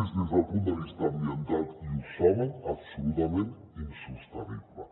és des del punt de vista ambiental i ho saben absolutament insostenible